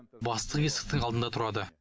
бастық есіктің алдында тұрады